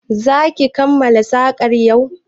Za ki kammala sakar yau?